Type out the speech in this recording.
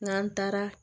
N'an taara